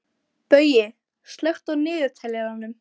Baui, slökktu á niðurteljaranum.